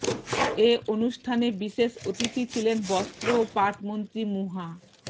এ অনুষ্ঠানে বিশেষ অতিথি ছিলেন বস্ত্র ও পাট মন্ত্রী মুহা